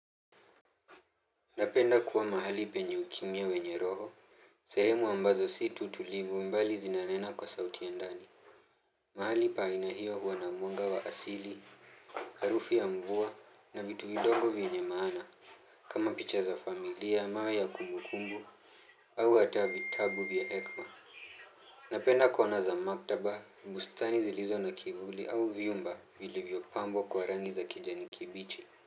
Napenda kuwa mahali penye ukimya wenye roho, sehemu ambazo si tu tulivu mbali zinanena kwa sauti ya ndani. Mahali pa aina hiyo huwa na mwanga wa asili, harufu ya mvua na vitu vidogo vyenye maana. Kama picha za familia, mawe ya kumbukumbu, au ata vitabu vya hekima. Napenda kuona za maktaba, bustani zilizo na kivuli au vyumba vilivyopambwa kwa rangi za kijani kibichi.